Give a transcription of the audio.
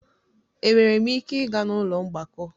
Enwere m ike ịga n'ụlọ mgbakọ?